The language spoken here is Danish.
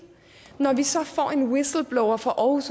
når vi så får en whistleblower fra aarhus